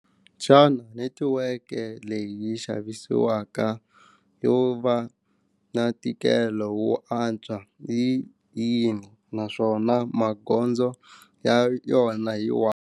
Xana netiweke leyi xavisiwaka yo va na ntikelo wo antswa yi yini naswona magondzo ya yona hi wani.